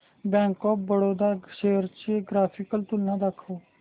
bank of Baroda shares ची graphical तुलना दाखव